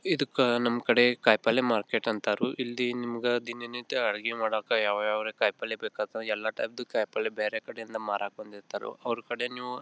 ಇದಕ್ಕ ನಮ್ ಕಡೆ ಕಾಯಿಪಲ್ಯ ಮಾರ್ಕೆಟ್ ಅಂತರೂ ಇಲ್ಲಿ ನಿಮ್ಗ ದಿನನಿತ್ಯ ಅಡುಗೆ ಮಾಡಕ ಯಾವ ಯಾವ ಕಾಯಿಪಲ್ಯ ಎಲ್ಲ ಟೈಪಿದು ಕಾಯಿಪಲ್ಯ ಬೇರೆ ಕಡೆಯಿಂದ ಮಾರೋಕೆ ಬಂದಿರ್ತಾರೆ ಅವ್ರ ಕಡೆಯಿಂದ ನೀವು--